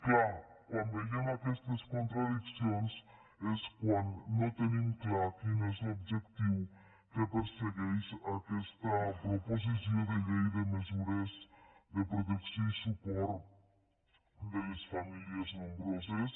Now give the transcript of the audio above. clar quan veiem aquestes contradiccions és quan no tenim clar quin és l’objectiu que persegueix aquesta proposició de llei de mesures de protecció i suport de les famílies nombroses